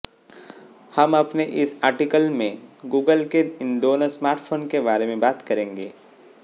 हम अपने इस आर्टिकल में गूगल के इन दोनों स्मार्टफोन के बारे में बात करेंगे